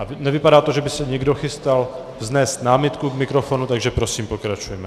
A nevypadá to, že by se někdo chystal vznést námitku k mikrofonu, takže prosím, pokračujeme.